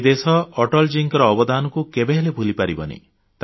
ଏହି ଦେଶ ଅଟଳଜୀଙ୍କ ଅବଦାନକୁ କେବେହେଲେ ଭୁଲି ପାରିବ ନାହିଁ